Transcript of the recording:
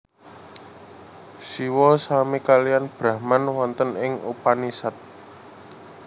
Siwa sami kaliyan Brahman wonten ing Upanisad